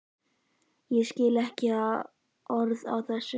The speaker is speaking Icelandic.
Ég skil ekki orð af þessu.